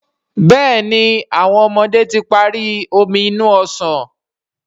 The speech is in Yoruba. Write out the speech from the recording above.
Béèni àwọn ọmọdé tí parí Omi inú ọsàn.